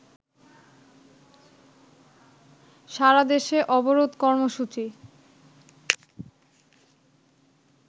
সারাদেশে অবরোধ কর্মসূচি